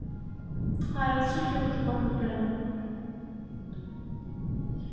Það er allt svo hljótt í morgunblænum.